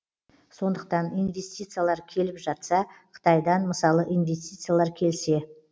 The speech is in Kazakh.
сондықтан инвестициялар келіп жатса қытайдан мысалы инвестициялар келсе